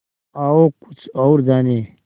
आओ कुछ और जानें